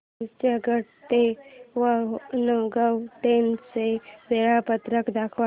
चर्चगेट ते वाणगांव ट्रेन चे वेळापत्रक दाखव